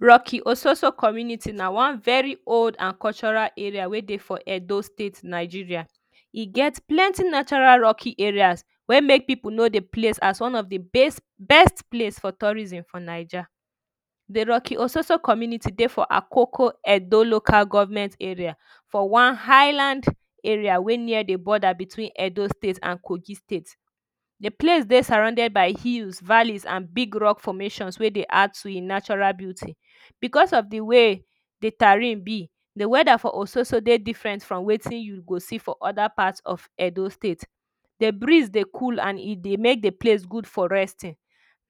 Rocky Ososo Community na one very old and cultural areas wey dey for Edo State Nigeria Eget plenty natural Rocky areas wey make people know the place as one of the best place for tourism for Naija The Rocky Ososo Community dey for Akoko Edo Local Government Area for one highland area wey near the border between Edo State and kogi State The place dey surrounded by hills valleys and big rock formations wey dey add to him natural beauty. Because of the way the terrain be, the weather for Ososo dey different from wetin you go see for other parts of Edo State. The breeze dey cool and e dey make dey place good or resting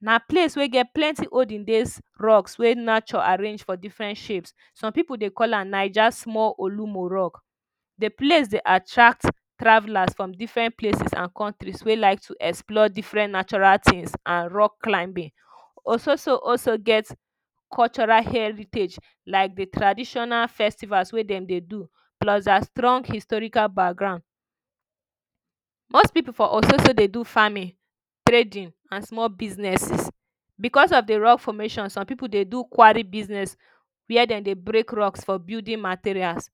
Na place wey get plenty olden days rocks wey nature arrange for different shapes. Some people dey call am Naija small Olumo rock. The place dey attract travellers from different places and countries wey like to explore different natural things and rock climbing. ososo also get cultural heritage like the traditional festivals wey they dey do plus their strong historical background Most people for Ososo dey do farming trading and small businesses. because of the rock formation, some people dey do quarry business where dem dey break rocks for building materials.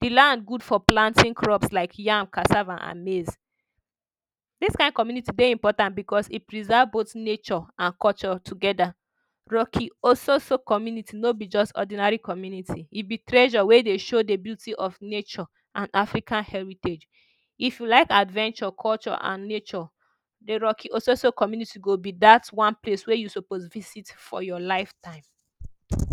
The lands good for planting crops like yam, cassava, and maize This kind community dey important because e preserve both nature and culture together. Rocky Ososo Community no be just ordinary community, e be treasure wey dey show the beauty of nature and African heritage. If you like adventure, culture and nature, the Rocky Ososo Community go be that one wey you suppose visit for your life time